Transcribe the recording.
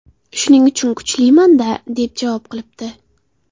Shuning uchun kuchliman-da”, deb javob qilibdi.